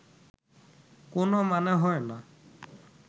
কোনো মানে হয় না